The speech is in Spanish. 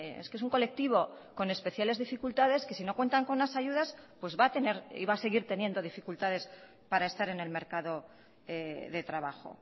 es que es un colectivo con especiales dificultades que si no cuentan con las ayudas pues va a tener y va a seguir teniendo dificultades para estar en el mercado de trabajo